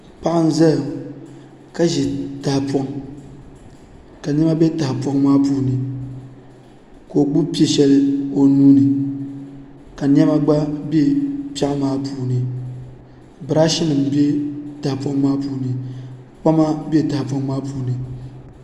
Paɣa n ʒɛya ka ʒi tahapoʋ ka niɛma bɛ tahapoŋ maa puuni ka o gbubi piɛ shɛli o nuuni ka niɛma gba bɛ piɛɣu maa puuni birash nim bɛ tahapoŋ maa puuni kpama bɛ tahapoŋ maa puuni